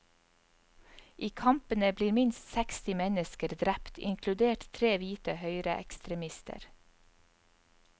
I kampene blir minst seksti mennesker drept, inkludert tre hvite høyreekstremister.